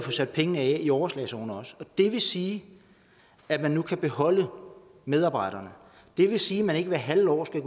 sat pengene af i overslagsårene også det vil sige at man nu kan beholde medarbejderne det vil sige at man ikke hvert halve år skal